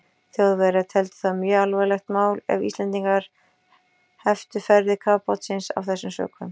Þjóðverjar teldu það mjög alvarlegt mál, ef Íslendingar heftu ferðir kafbátsins af þessum sökum.